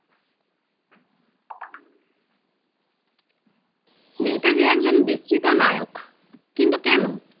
নেতাজী একজন বিস্তৃত নায়ক কিন্তু কেনো?